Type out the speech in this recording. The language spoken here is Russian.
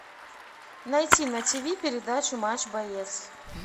найти на тиви передачу матч боец